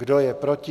Kdo je proti?